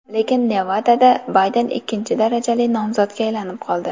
Lekin Nevadada Bayden ikkinchi darajali nomzodga aylanib qoldi.